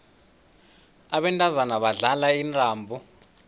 abantazana badlala intambo